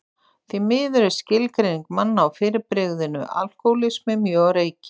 Því miður er skilgreining manna á fyrirbrigðinu alkohólismi mjög á reiki.